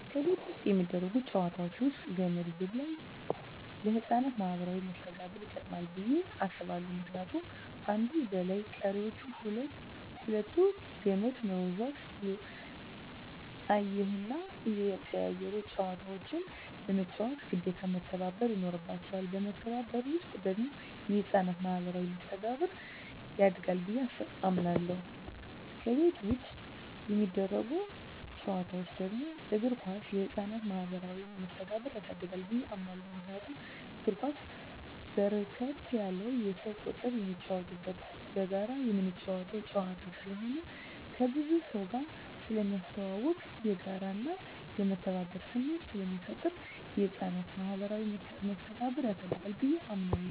ከቤት ውስጥ የሚደረጉ ጨዋታወች ውስጥ ገመድ ዝላይ ለህፃናት ማኀበራዊ መስተጋብር ይጠቅማ ብየ አስባለሁ ምክንያቱም አንዱ ዘላይ ቀሪወች ሁለቱ ከመድ ወዝዋዥ እየሆኑና እየተቀያየሩ ጨዋታውን ለመጫወት ግዴታ መተባበር ይኖርባቸዋል በመተባበር ውስጥ ደግሞ የህፃናት ማኋበራዊ መስተጋብር ያድጋል ብየ አምናለሁ። ከቤት ውጭ የሚደረጉ ጨዋታወች ደግሞ እግር ኳስ የህፃናትን ማህበራዊ መስተጋብር ያሳድጋል ብየ አምናለሁ። ምክንያቱም እግር ኳስ በርከት ያለ የሰው ቁጥር የሚጫወትበትና በጋራ ምትጫወተው ጨዋታ ስለሆነ ከብዙ ሰውጋር ስለሚያስተዋውቅ፣ የጋራና የመተባበር ስሜት ስለሚፈጥር የህፃናትን ማኀበራዊ መስተጋብር ያሳድጋል ብየ አምናለሁ።